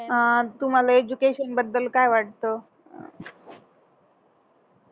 अह तुम्हाला एज्युकेशन बद्दल काय वाटत